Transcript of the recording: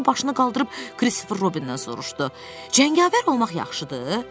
Birdən o başını qaldırıb Kristofer Robindən soruşdu: “Cəngavər olmaq yaxşıdır?”